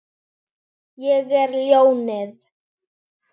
Ég er ljónið.